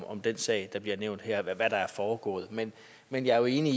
om den sag der bliver nævnt her eller ved hvad der er foregået men men jeg er jo enig